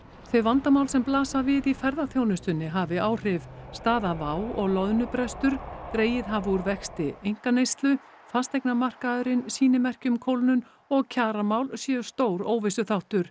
þau vandamál sem blasa við í ferðaþjónustunni hafi áhrif staða WOW og loðnubrestur dregið hafi úr vexti einkaneyslu fasteignamarkaðurinn sýni merki um kólnun og kjaramál séu stór óvissuþáttur